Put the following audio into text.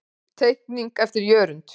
Teikning eftir Jörund.